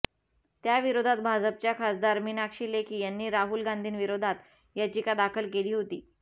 त्याविरोधात भाजपच्या खासदार मीनाक्षी लेखी यांनी राहुल गांधींविरोधात याचिका दाखल केली होती